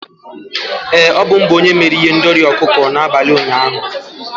Ee, ọ bụ m bụ onye mere ihendori ọkụkọ n'abalị ụnyaahụ.